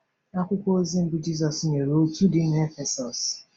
Akwụkwọ ozi mbụ Jizọs nyere òtù dị na Efesọs.